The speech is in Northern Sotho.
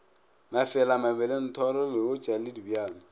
mafela mabelethoro leotša le dibjalo